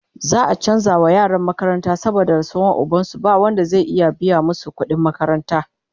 za'a chanza wa yaran makaranta saboda rasuwan ubansu, ba Wanda zai iya biya masu kudin makaranta